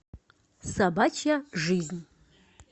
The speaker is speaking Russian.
собачья жизнь